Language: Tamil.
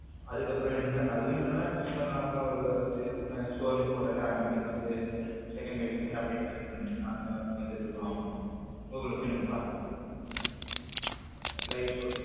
அதுக்கப்புறம் என்னன்னா அதுவும் சும்மா normal ஆ ஒரு score நு போட்டாலே automatic ஆ வந்து second by second update ஆகிட்டே இருக்கணும் normal ஆ வந்துட்டு இருக்கும் ஆமா கூகுள்ல போய் நம்ம பார்த்துக்கலாம் live score.